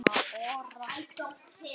Þrátt fyrir góðan vilja.